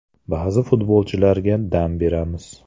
Ba’zi futbolchilarga dam beramiz.